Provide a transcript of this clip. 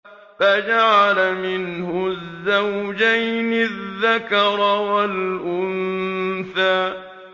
فَجَعَلَ مِنْهُ الزَّوْجَيْنِ الذَّكَرَ وَالْأُنثَىٰ